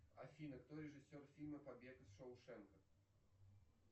афина кто режиссер фильма побег из шоушенка